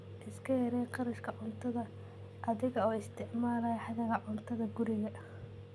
Iska yaree kharashka cuntada adiga oo isticmaalaya hadhaaga cuntada guriga.